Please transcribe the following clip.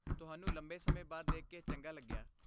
ਤੁਹਾਨੂੰ ਲੰਬੇ ਸਮੇਂ ਬਾਅਦ ਦੇਖ ਕੇ ਚੰਗਾ ਲੱਗਿਆ।